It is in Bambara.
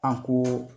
An ko